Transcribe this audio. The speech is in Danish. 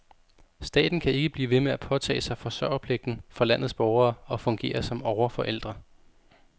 Staten kan ikke blive ved med at påtage sig forsørgerpligten for landets borgere og fungere som overforældre.